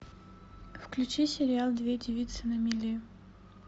включи сериал две девицы на мели